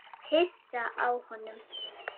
Hissa á honum.